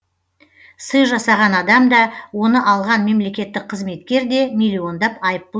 сый жасаған адам да оны алған мемлекеттік қызметкер де миллиондап айыппұл төлейді